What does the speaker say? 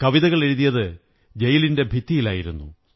കവിതകളെഴുതിയത് ജയിലിന്റെ ഭിത്തിയിലായിരുന്നു